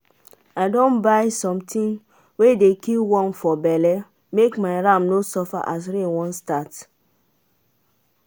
i don buy something wey dey kill worm for belle make my ram no suffer as rain wan start.